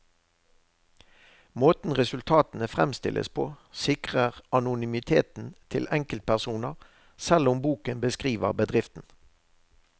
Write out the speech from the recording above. Måten resultatene fremstilles på, sikrer anonymiteten til enkeltpersoner, selv om boken beskriver bedriften.